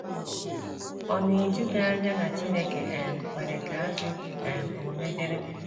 Ọ̀ na - eju gị anya na Chineke um kwere ka ajọ um omume dịrị?